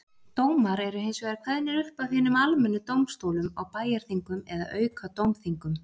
Dómar eru hins vegar kveðnir upp af hinum almennu dómstólum á bæjarþingum eða aukadómþingum.